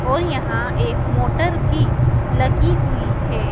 और यहां एक मोटर भी लगी हुईं हैं।